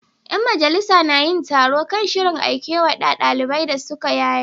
Yan majalisar na yin taro kan shirin Aikewa da daliban da suka yaye.